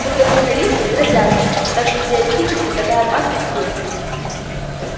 фундаменталисты грозятся так что теоретически такая опасность есть